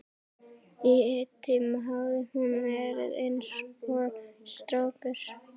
Í einn tíma hafði hún verið eins og strákur.